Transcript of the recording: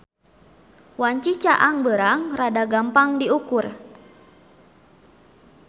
Wanci caang beurang rada gampang diukur.